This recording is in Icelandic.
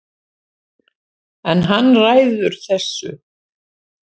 En hann ræður þessu